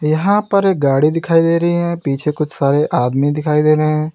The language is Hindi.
यहां पर एक गाड़ी दिखाई दे रही है पीछे कुछ सारे आदमी दिखाई दे रहे हैं।